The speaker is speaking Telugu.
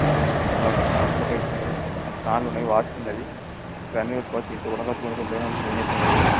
ఆ పైపు ఉందని ఫ్యాన్ లు ఉన్నాయి. వాచ్ ఉన్నది. ఇవన్నీ పెట్టుకోవచ్చు. ఇంట్లో కూడా--